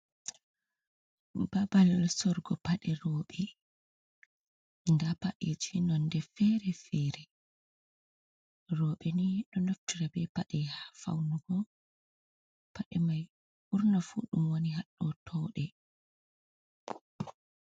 Babal sorrugo paɗe rewɓe, nda nda paɗeji nonde fere fere, rewɓe ni ɗo naftira be paɗe ha faunugo, paɗe mai ɓurna fuu ɗum woni haɗoo touɗe.